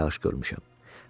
Az yağış görmüşəm.